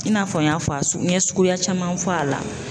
I n'a fɔ n y'a fɔ a n ye suguya caman fɔ a la.